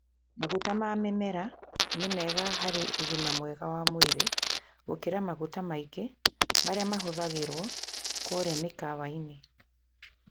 Maguta ma mĩmera nĩ mega harĩ ũgima wa mwĩrĩ gũkĩra maguta maingĩ marĩa mahũthagĩrũo kũrĩa mĩkawa-inĩ.